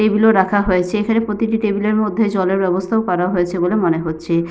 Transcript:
Table -ও রাখা হয়েছে। এখানে প্রতিটি টেবিল -এর মধ্যে জলের ব্যবস্থাও করা হয়েছে বলে মনে হচ্ছে।